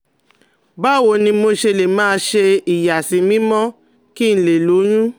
Báwo ni mo ṣe lè máa ṣe ìyàsímímọ́ kí n lè lóyún?